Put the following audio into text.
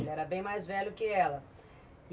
Ele era bem mais velho que ela.